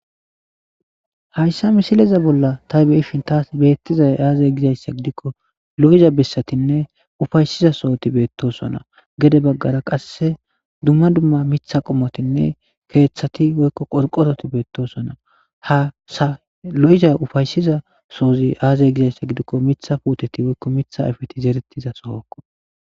Hayssa misileza bolla ta beyishin taas beettizay aazay gizayssa gidikko lo'za bissatinne ufaysiza sohoti beettosona gede baggara qasse dumma dumma mitha qomotinne keethati woykko qorqototi betosona hasa lo'za ufaysiza soozi aazey gizayssa gidikko mitha puuteti woykko mitha ifeti zeretiza sohokko.